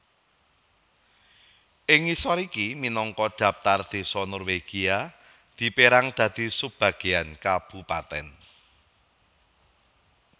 Ing ngisor iki minangka dhaptar désa Norwegia dipérang dadi sub bagean kabupatèn